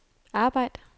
arbejd